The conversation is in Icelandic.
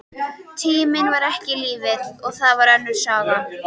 Tíminn var ekki lífið, og það var önnur saga.